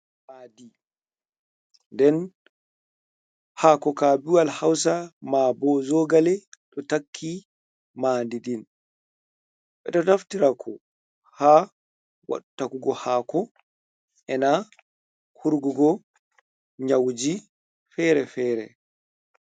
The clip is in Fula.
Ma'adi, nden ha'ako kabiwal hausa, mabo zogale ɗo takki ma'adidin. Beɗo taftirako ha wattakugo hako ena hurgugo nyauji fere-fere.